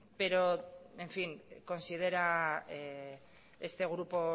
pero en fin considera este grupo